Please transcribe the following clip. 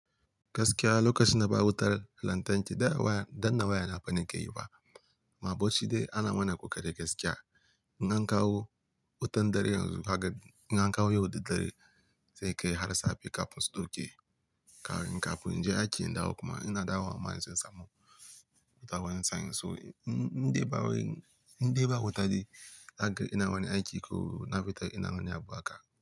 Gaskiya lokacin da ba wutar lantarki da a waya, da a waya na fa ni ke yi ba. A bauchi dai ana mana ƙoƙari gaskiya. In an kawo wutan dare yanzu, haka in an kawo yau daddare, sai ka yi har safe kafin su ɗauke. Kawon kafin, in je aiki in dawo kuma ina dawo wa masu musamman. Da wayan su sa'in, so in-inde ba wayan, inde ba wuta dai, hakan ina wani aiki ko na fita ina wani abu haka.